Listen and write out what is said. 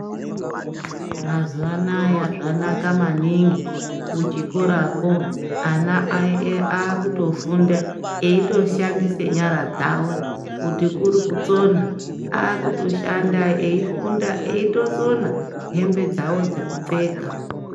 Mazuwa anaya zvanaka maninhi kuchikorakwonana ae akutofunda eitoshandise nyara dzawo kuti kuri kutsona akuto shanda eifunda eitosona hembe dzawo dzekupfeka.